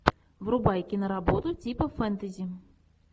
врубай киноработу типа фэнтези